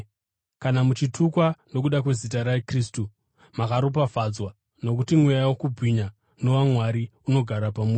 Kana muchitukwa nokuda kwezita raKristu, makaropafadzwa, nokuti mweya wokubwinya nowaMwari unogara pamuri.